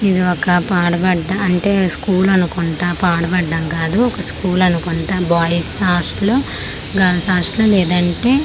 ఇది ఒక పాడుబడ్డ అంటే స్కూలు అనుకుంటా పాడుబడ్డా కాదు ఒక స్కూల్ అనుకుంటా బాయ్స్ హాస్టలు గర్ల్స్ హాస్టల్ లేదంటే--